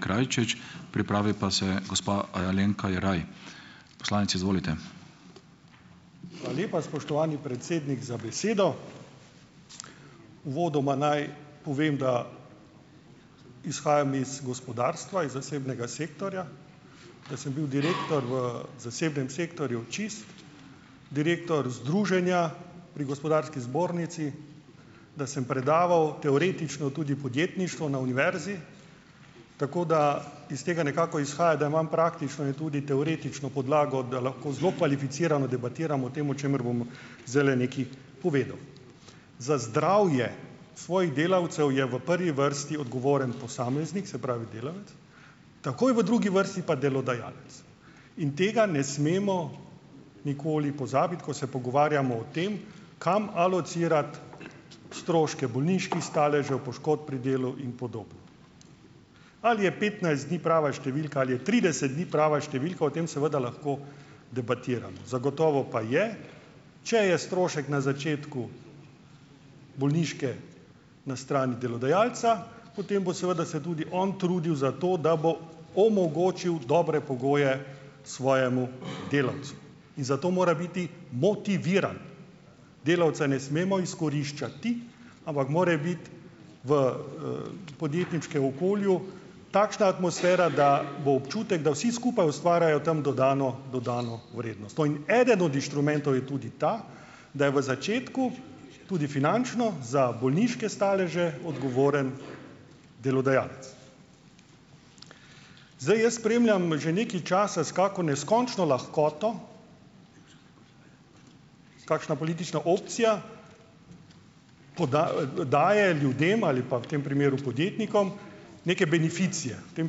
Hvala lepa, spoštovani predsednik, za besedo! Uvodoma naj povem, da izhajam iz gospodarstva, iz zasebnega sektorja, da sem bil direktor v zasebnem sektorju Čisto, direktor Združenja pri Gospodarski zbornici, da sem predaval teoretično tudi podjetništvo na univerzi, tako da iz tega nekako izhaja, da imam praktično in tudi teoretično podlago, da lahko zelo kvalificirano debatiram o tem, o čemer bom zdajle nekaj povedal. Za zdravje svojih delavcev je v prvi vrsti odgovoren posameznik, se pravi delavec, takoj v drugi vrsti pa delodajalec. In tega ne smemo nikoli pozabiti, ko se pogovarjamo o tem, kam alocirati stroške bolniških staležev, poškodb pri delu in podobno. Ali je petnajst dni prava številka? Ali je trideset dni prava številka? O tem seveda lahko debatiramo. Zagotovo pa je, če je strošek na začetku bolniške na strani delodajalca, potem bo seveda se tudi on trudil za to, da bo omogočil dobre pogoje svojemu delavcu. In zato mora biti motiviran. Delavca ne smemo izkoriščati, ampak mora biti v, podjetniškem okolju takšna atmosfera, da bo občutek, da vsi skupaj ustvarjajo tam dodano dodano vrednost. To in eden od inštrumentov je tudi ta, da je v začetku, tudi finančno, za bolniške staleže odgovoren delodajalec. Zdaj jaz spremljam že nekaj časa, s kako neskončno lahkoto kakšna politična opcija daje ljudem ali pa, v tem primeru podjetnikom, neke beneficije. V tem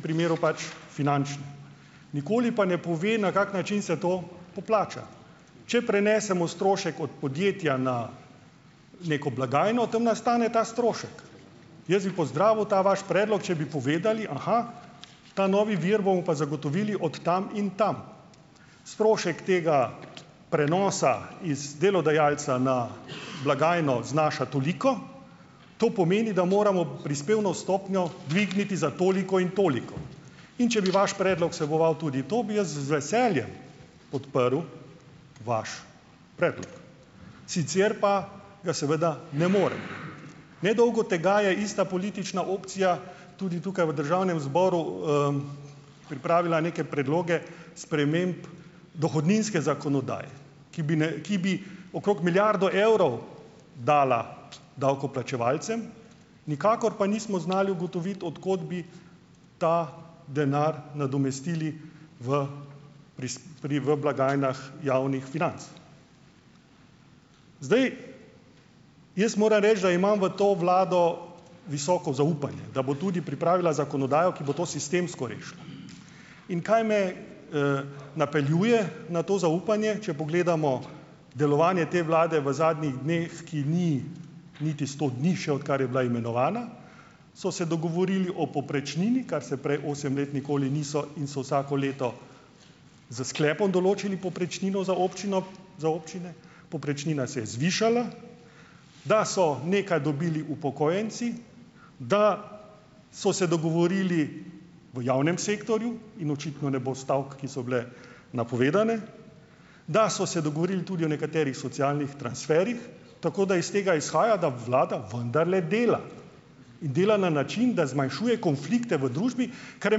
primeru pač finančne. Nikoli pa ne pove, na kak način se to poplača. Če prenesemo strošek od podjetja na neko blagajno, tam nastane ta strošek. Jaz bi pozdravil ta vaš predlog, če bi povedali, aha, ta novi vir bomo pa zagotovili od tam in tam. Strošek tega prenosa iz delodajalca na blagajno znaša toliko. To pomeni, da moramo prispevno stopnjo dvigniti za toliko in toliko. In če bi vaš predlog vseboval tudi to, bi jaz z veseljem podprl vaš predlog. Sicer pa ga seveda ne morem. Ne dolgo tega je ista politična opcija tudi tukaj v državnem zboru, pripravila neke predloge sprememb dohodninske zakonodaje, ki bi ki bi okrog milijardo evrov dala davkoplačevalcem, nikakor pa nismo znali ugotoviti, od kod bi ta denar nadomestili v pri, v blagajnah javnih financ. Zdaj. Jaz moram reči, da imam v to vlado visoko zaupanje, da bo tudi pripravila zakonodajo, ki bo to sistemsko rešila. In kaj me, napeljuje na to zaupanje. Če pogledamo delovanje te vlade v zadnjih dneh, ki ni niti sto dni še, odkar je bila imenovana, so se dogovorili o povprečnini, kar se prej osem let nikoli niso, in so vsako leto s sklepom določili povprečnino za občino, za občine, povprečnina se je zvišala, da so nekaj dobili upokojenci, da so se dogovorili v javnem sektorju, in očitno ne bo stavek, ki so bile napovedane, da so se dogovorili tudi o nekaterih socialnih transferjih. Tako da iz tega izhaja, da vlada vendarle dela in dela na način, da zmanjšuje konflikte v družbi, kar je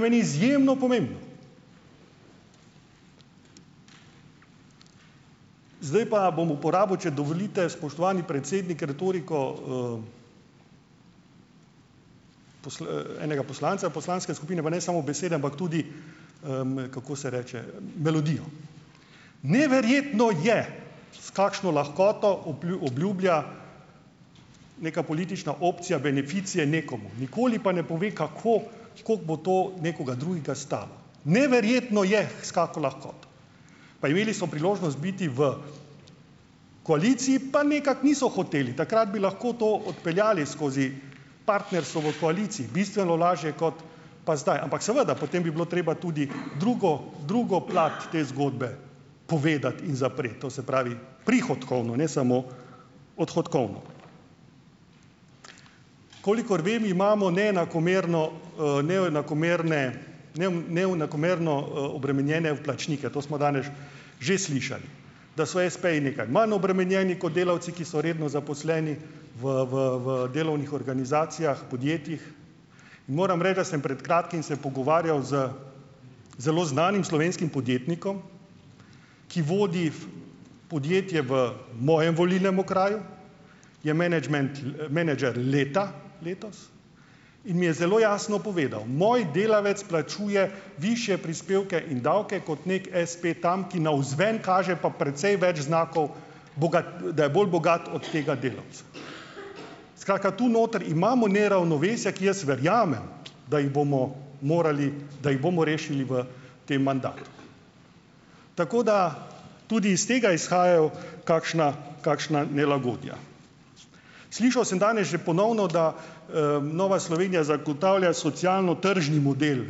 meni izjemno pomembno. Zdaj pa bom uporabil, če dovolite, spoštovani predsednik, retoriko, enega poslanca poslanske skupine, pa ne samo besede, ampak tudi, kako se reče, melodijo. Neverjetno je, s kakšno lahkoto obljublja neka politična opcija beneficije nekomu, nikoli pa ne pove, kako, kako bo to nekoga drugega stalo. Neverjetno je, s kako lahkoto. Pa imeli so priložnost biti v koaliciji, pa nekako niso hoteli. Takrat bi lahko to odpeljali skozi partnerstvo v koaliciji, bistveno lažje kot pa zdaj. Ampak seveda, potem bi bilo treba tudi drugo, drugo plat te zgodbe povedati in zapreti, to se pravi prihodkovno, ne samo odhodkovno. Kolikor vem, imamo neenakomerno, neenakomerne neenakomerno, obremenjene vplačnike. To smo danes že slišali. Da so espeji nekaj manj obremenjeni kot delavci, ki so redno zaposleni v, v, v delovnih organizacijah, podjetjih. Moram reči, da sem pred kratkim se pogovarjal z zelo znanim slovenskim podjetnikom, ki vodi podjetje v mojem volilnem okraju, je menedžment, menedžer leta letos, in mi je zelo jasno povedal: "Moj delavec plačuje višje prispevke in davke kot neki espe tam, ki navzven kaže pa precej več znakov, da je bolj bogat od tega delavca." Skratka, tu noter imamo neravnovesja, ki, jaz verjamem, da jih bomo morali, da jih bomo rešili v tem mandatu. Tako da tudi iz tega izhajajo kakšna kakšna nelagodja. Slišal sem danes že ponovno, da, Nova Slovenija zagotavlja socialno-tržni model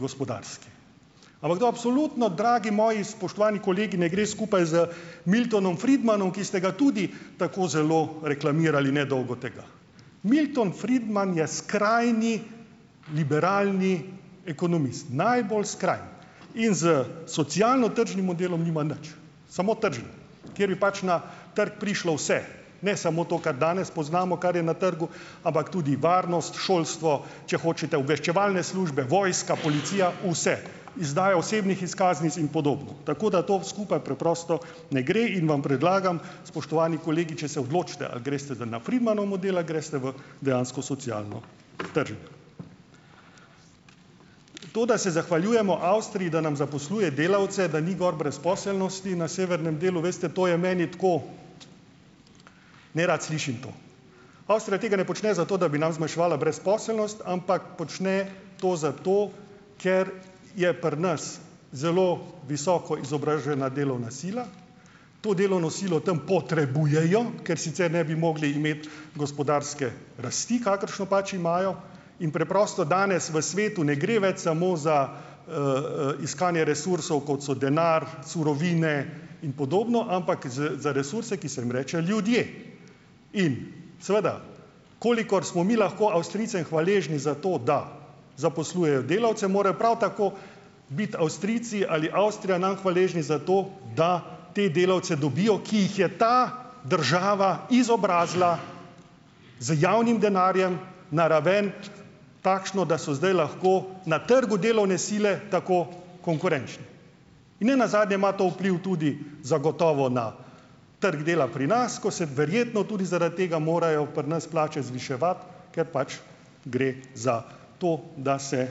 gospodarstva. Ampak to absolutno, dragi moji spoštovani kolegi, ne gre skupaj z Miltonom Friedmanom, ki ste ga tudi tako zelo reklamirali nedolgo tega. Milton Friedman je skrajni liberalni ekonomist. Najbolj skrajni. In s socialno-tržnim modelom nima nič, samo tržno, kjer bi pač na trg prišlo vse, ne samo to, kar danes poznamo, kar je na trgu, ampak tudi varnost, šolstvo, če hočete, obveščevalne službe, vojska, policija, vse. Izdajo osebnih izkaznic in podobno. Tako da to skupaj preprosto ne gre in vam predlagam, spoštovani kolegi, če se odločite ali greste zdaj na Friedmanov model ali greste v dejansko socialno trženje. To, da se zahvaljujemo Avstriji, da nam zaposluje delavce, da ni gor brezposelnosti, na severnem delu, veste, to je meni tako, nerad slišim to. Avstrija tega ne počne zato, da bi nam zmanjševala brezposelnost, ampak počne to zato, ker je pri nas zelo visoko izobražena delovna sila, to delovno silo tam potrebujejo, ker sicer ne bi mogli imeti gospodarske rasti, kakršno pač imajo, in preprosto danes v svetu ne gre več samo za, iskanje resursov, kot so denar, surovine in podobno, ampak za, za resurse, ki se jim reče ljudje. In seveda, kolikor smo mi lahko Avstrijcem hvaležni za to, da zaposlujejo delavce, morajo prav tako biti Avstrijci ali Avstrija nam hvaležni za to, da te delavce dobijo, ki jih je ta država izobrazila z javnim denarjem na raven takšno, da so zdaj lahko na trgu delovne sile tako konkurenčni. In ne nazadnje ima to vpliv tudi zagotovo na trg dela pri nas, ko se verjetno tudi zaradi tega morajo pri nas plače zviševati, ker pač gre za to, da se,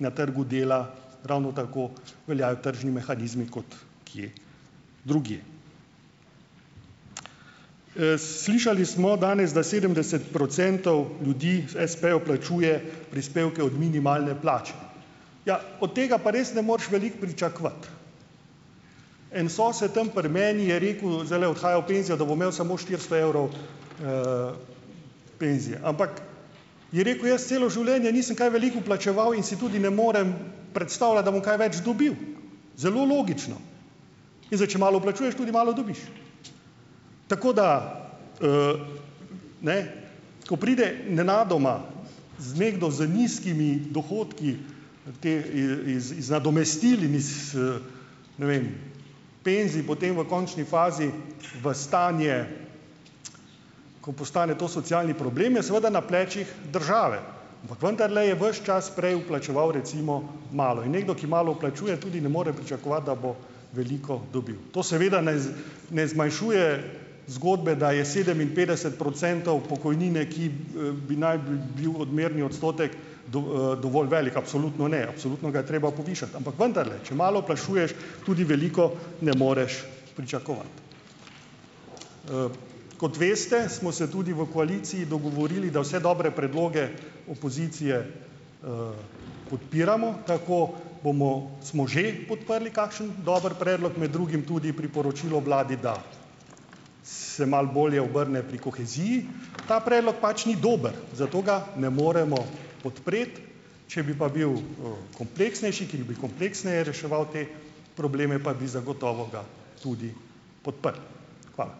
na trgu dela ravno tako veljajo tržni mehanizmi kot kje drugje. Slišali smo danes, da sedemdeset procentov ljudi, espejev, plačuje prispevke od minimalne plače. Ja, od tega pa res ne moreš veliko pričakovati. En sosed tam pri meni je rekel, zdajle odhaja v penzijo, da bo imel samo štiristo evrov, penzije. Ampak je rekel, jaz celo življenje nisem kaj veliko plačeval in si tudi ne morem predstavljati, da bom kaj več dobil. Zelo logično. In zdaj, če malo plačuješ, tudi malo dobiš. Tako da, ne, ko pride nenadoma z nekdo z nizkimi dohodki, te it iz nadomestil in iz, ne vem, penzij, potem v končni fazi v stanje, ko postane to socialni problem, je seveda na plečih države, ampak vendarle je ves čas prej vplačeval recimo malo in nekdo, ki malo vplačuje, tudi ne more pričakovati, da bo veliko dobil. To seveda ne ne zmanjšuje zgodbe, da je sedeminšestdeset procentov pokojnine, ki, bi naj bi bil odmerni odstotek dovolj velik. Absolutno ne, absolutno ga je treba povišati, ampak vendarle, če malo vplačuješ, tudi veliko ne moreš pričakovati. Kot veste, smo se tudi v koaliciji dogovorili, da vse dobre predloge opozicije, podpiramo. Tako bomo smo že podprli kakšen dober predlog, med drugim tudi priporočilo vladi, da se malo bolje obrne pri koheziji. Ta predlog pač ni dober, zato ga ne moremo podpreti. Če bi pa bil, kompleksnejši, ki bi kompleksneje reševal te probleme, pa bi zagotovo ga tudi podprli. Hvala.